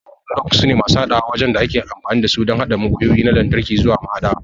Lugs sune masu haɗawa waɗanda ake amfani da su don haɗa wayoyi na lantarki zuwa mahaɗa.